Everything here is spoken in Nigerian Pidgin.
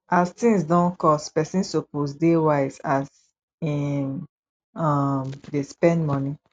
as tins don cost pesin suppose dey wise as im um dey spend moni